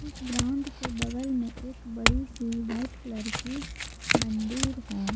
इस ग्राउंड के बगल में एक बड़ी सी व्हाइट कलर की मंदिर है।